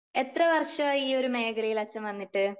എത്ര വർഷമായി ഈ ഒരു മേഖലയിൽ അച്ഛൻ വന്നിട്ട്?